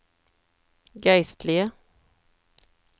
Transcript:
geistlige